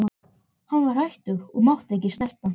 Hann var hættur og mátti ekki snerta.